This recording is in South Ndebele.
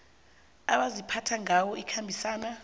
abaziphatha ngayo ikhambisana